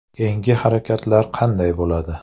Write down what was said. Keyingi harakatlar qanday bo‘ladi?